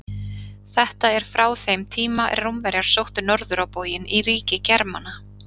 Þetta er frá þeim tíma er Rómverjar sóttu norður á bóginn í ríki Germana.